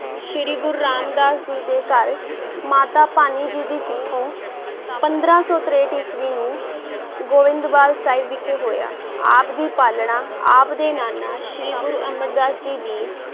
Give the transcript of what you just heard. ਸ੍ਰੀ ਗੁਰੂ ਰਾਮ ਦਾਸ ਜੀ ਦੇ ਘਰ ਮਾਤਾ ਭਾਨੀ ਜੀ ਦੀ ਕੁੱਖੋਂ ਪੰਦਰਾਂ ਸੌ ਤਰੇਹਠ ਈਸਵੀ ਨੂੰ ਗੋਇੰਦਵਾਲ ਸਾਹਿਬ ਵਿਖੇ ਹੋਇਆ, ਆਪ ਦੀ ਪਾਲਣਾ ਆਪ ਦੇ ਨਾਨਾ ਸ੍ਰੀ ਗੁਰੂ ਅਮਰਦਾਸ ਜੀ ਦੀ